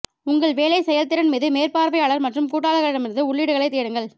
உங்கள் வேலை செயல்திறன் மீது மேற்பார்வையாளர் மற்றும் கூட்டாளர்களிடமிருந்து உள்ளீடுகளைத் தேடுங்கள்